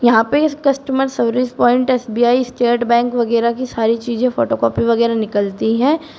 यहां पे इस customer service point S B I State Bank वगैरा की सारी चीजें फोटो कॉपी वगैरा निकलती है।